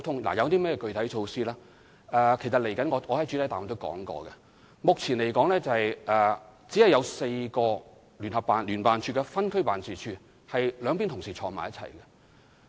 至於具體措施，正如我在主體答覆中指出，目前在所有分區辦事處中，只有4個辦事處有兩大職系同事一起工作。